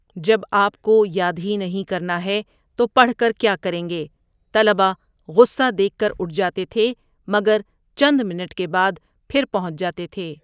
جب آپ کو یاد ہی نہیں کرنا ہے، تو پڑھ کر کیا کریں گے، طلبہ غصہ دیکھ کر اٹھ جاتے تھے، مگر چند منٹ کے بعد پھر پہنچ جاتے تھے۔